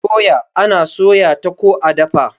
doya ana soya ta ko a dafa